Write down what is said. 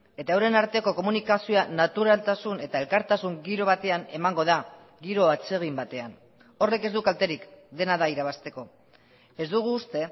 eta euren arteko komunikazioa naturaltasun eta elkartasun giro batean emango da giro atsegin batean horrek ez du kalterik dena da irabazteko ez dugu uste